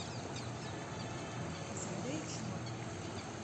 заречном